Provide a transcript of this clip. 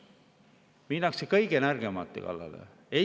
Minnakse kõige nõrgemate kallale!